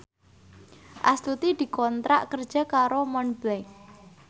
Astuti dikontrak kerja karo Montblanc